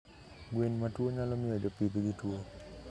Gwen matwuo nyalo miyo jopidhgi twuo